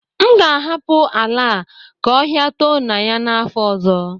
M ga-ahapụ ala a ka ọhịa too na ya n'afọ ọzọ